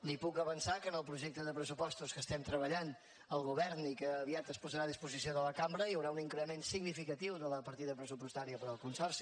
li puc avançar que en el projecte de pressupostos que estem treballant al govern i que aviat es posarà a disposició de la cambra hi haurà un increment significatiu de la partida pressupostària per al consorci